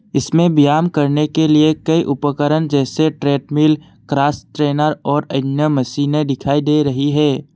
इसमें ब्याम करने के लिए कई उपकरण जैसे ट्रेडमिल क्रॉस ट्रेनर और अन्य मशीनें दिखाई दे रही है।